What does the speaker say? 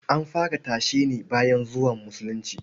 An fara tashe ne bayan zuwan Musulunci.